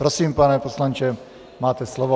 Prosím, pane poslanče, máte slovo.